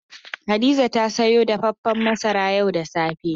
Hadiza ta sayo dafafen masara yau da safe.